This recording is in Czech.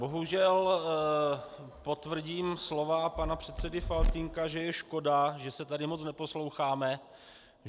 Bohužel potvrdím slova pana předsedy Faltýnka, že je škoda, že se tady moc neposloucháme.